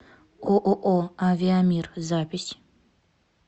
ооо авиамир запись